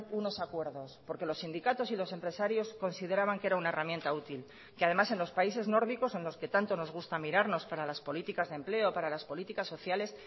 unos acuerdos porque los sindicatos y los empresarios consideraban que era una herramienta útil que además en los países nórdicos en los que tanto nos gusta mirarnos para las políticas de empleo para las políticas sociales